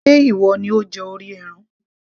ṣe ìwọ ni ó jẹ orí ẹran